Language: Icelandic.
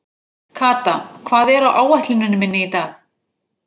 Kata, hvað er á áætluninni minni í dag?